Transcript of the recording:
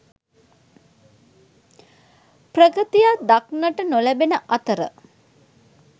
ප්‍රගතියක් දක්නට නොලැබෙන අතර